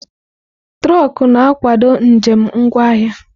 Trọkú na-akwado njem ngwa ahịa.